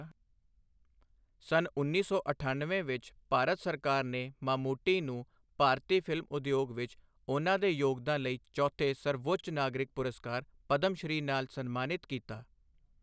ਸੰਨ ਉੱਨੀ ਸੌ ਅਠਣਵੇਂ ਵਿੱਚ ਭਾਰਤ ਸਰਕਾਰ ਨੇ ਮਾਮੂਟੀ ਨੂੰ ਭਾਰਤੀ ਫਿਲਮ ਉਦਯੋਗ ਵਿੱਚ ਉਹਨਾਂ ਦੇ ਯੋਗਦਾਨ ਲਈ ਚੌਥੇ ਸਰਵਉੱਚ ਨਾਗਰਿਕ ਪੁਰਸਕਾਰ, ਪਦਮ ਸ਼੍ਰੀ ਨਾਲ ਸਨਮਾਨਿਤ ਕੀਤਾ।